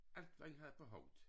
Alt hvad i hvade på hovedet